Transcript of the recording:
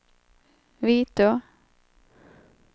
Vitå